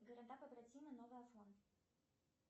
города побратимы новый афон